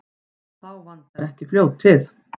Og þá vantar ekki fljótið.